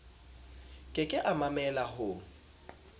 ke ke a mamella ho